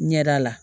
Ɲɛda la